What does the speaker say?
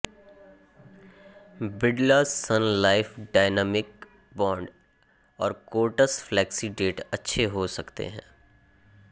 Birla sun life dynamic bond और कोटस flexi debt अच्छे हो सकते हैं